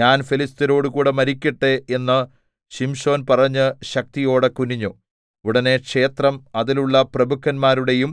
ഞാൻ ഫെലിസ്ത്യരോടുകൂടെ മരിക്കട്ടെ എന്ന് ശിംശോൻ പറഞ്ഞ് ശക്തിയോടെ കുനിഞ്ഞു ഉടനെ ക്ഷേത്രം അതിലുള്ള പ്രഭുക്കന്മാരുടെയും